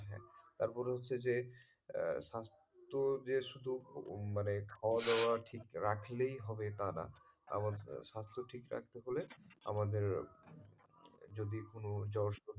তারপরে হচ্ছে যে স্বাস্থ্য যে শুধু মানে খাওয়া দাওয়া ঠিক রাখলেই হবে তা না আমাদের স্বাস্থ্য ঠিক রাখতে হলে আমাদের যদি কোনো,